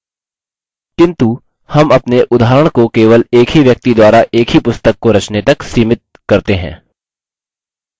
किन्तु हम अपने उदाहरण को केवल एक ही व्यक्ति द्वारा एक ही पुस्तक को रचने तक limit करते हैं